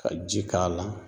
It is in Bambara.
Ka ji k'a la